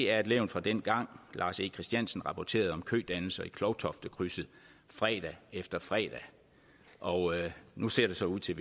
er et levn fra dengang lars e christiansen rapporterede om kødannelser i klovtoftekrydset fredag efter fredag og nu ser det så ud til